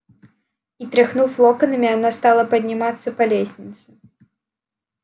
и тряхнув локонами она стала подниматься по лестнице